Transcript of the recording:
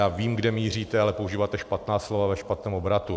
Já vím, kde míříte, ale používáte špatná slova ve špatném obratu.